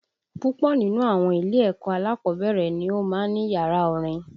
Púpọ̀ nínú àwọn ilé-ẹ̀kọ́ alákọ̀ọ́bẹ̀rẹ̀ ni ó máa ń ní yàrá orin